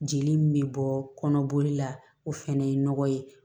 Jeli min bɛ bɔ kɔnɔboli la o fɛnɛ ye nɔgɔ ye